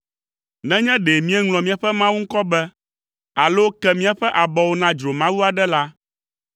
Nenye ɖe míeŋlɔ míaƒe Mawu ŋkɔ be, alo ke míaƒe abɔwo na dzromawu aɖe la,